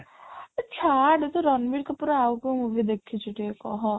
ଏ ଛାଡ଼ ତୁ ରଣବୀର କପୂର ର ଆଉ କ'ଣ movie ଦେଖିଚୁ ଟିକେ କହ